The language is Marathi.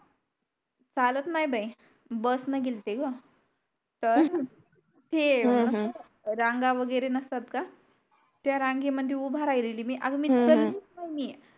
चालत नाय बाय bus ने गेल्ते ग तर ते रांगा वैगेरे नसतात का त्या रांगे मध्ये उभा राहिलेली मी आग मी विसरली च नाही ये